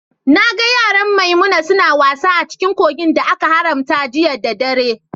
Na gan yaran Maimuna suna wasa a cikin kogin da aka haramta jiya ɗa ɗare.